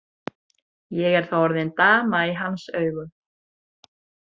Ég er þá orðin dama í hans augum.